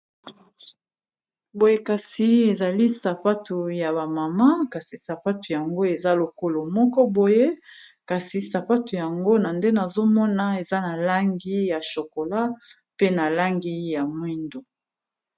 boye kasi ezali sapatu ya bamama kasi sapatu yango eza lokolo moko boye kasi sapatu yango na nde nazomona awa eza na langi ya shokola pe na langi ya mwindo